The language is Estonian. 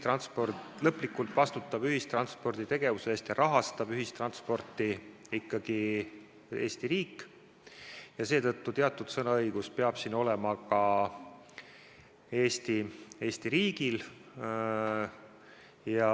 Lõplikult vastutab ühistranspordi tegevuse eest ja rahastab ühistransporti ikkagi Eesti riik ja seetõttu teatud sõnaõigus peab siin olema ka Eesti riigil.